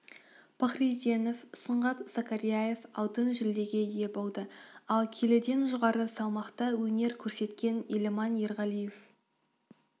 пахриденов сұңғат закарияев алтын жүлдеге ие болды ал келіден жоғары салмақта өнер көрсеткен еламан ерғалиев